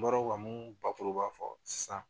N bɔra ka mun bakuruba fɔ sisan